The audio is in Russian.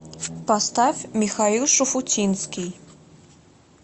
поставь михаил шуфутинский